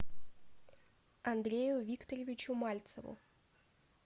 андрею викторовичу мальцеву